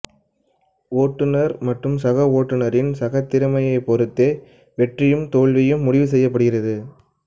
ஒட்டுனர் மற்றும் சக ஓட்டுனரின் சக திறமையைப் பொறுத்தே வெற்றியும் தோல்வியும் முடிவு செய்யப் படுகிறது